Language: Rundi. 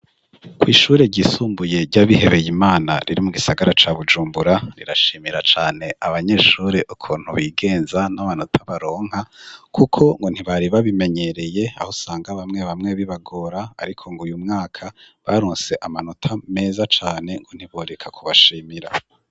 Kw'ishure ryisumbuye ryabihebeye imana riri mu gisagara ca Bujumbura rirashimira cane abanyeshure ukuntu bigenza n'abanota baronka, kuko ngo ntibari babimenyereye aho sanga bamwe bamwe bibagora, ariko ngo uyu mwaka barunse amanota meza cane ngo ntiboreka kubashimira.